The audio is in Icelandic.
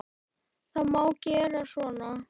Það má gera svona